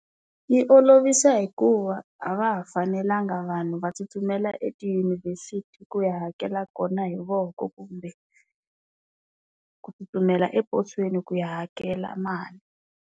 Yi olovisa hikuva a va ha fanelanga vanhu va tsutsumela etiyunivhesiti ku ya hakela kona hi voko kumbe ku tsutsumela eposweni ku ya hakela mali.